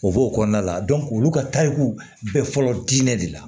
O b'o kɔnɔna la olu ka tariku bɛ fɔlɔ diinɛ de la